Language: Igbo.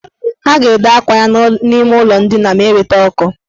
Ha ga-ede akwa ya n' ime ụlọ ndina ma eweta ọkụ.